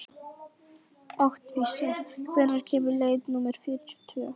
Oktavías, hvenær kemur leið númer fjörutíu og tvö?